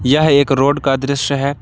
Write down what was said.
यह एक रोड का दृश्य है।